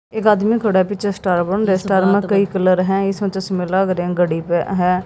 एक आदमी खड़ा है पीछे स्टार बन रहे है स्टार में कई कलर है इसमें चश्मे लाग रहे घडी भी है।